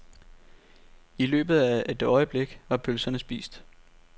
I løbet af et øjeblik var pølserne spist.